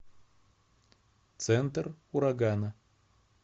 центр урагана